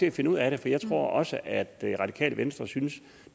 at finde ud af det jeg tror nemlig også at det radikale venstre synes at